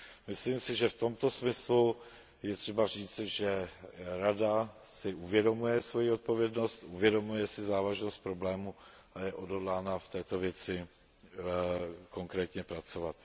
Myslím si, že v tomto smyslu je třeba říci, že Rada si uvědomuje svoji odpovědnost, uvědomuje si závažnost problému a je odhodlána v této věci konkrétně pracovat.